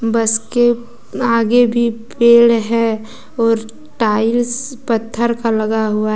बस के आगे भी पेड़ है और टाइल्स पत्थर का लगा हुआ--